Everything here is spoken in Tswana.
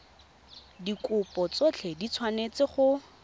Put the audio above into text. dikopo tsotlhe di tshwanetse go